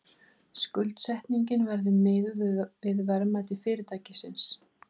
Skuldsetningin verði miðuð við verðmæti fyrirtækisins